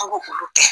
An b'olu kɛ